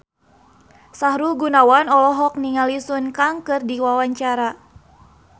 Sahrul Gunawan olohok ningali Sun Kang keur diwawancara